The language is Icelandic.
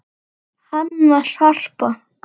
Hanna, Harpa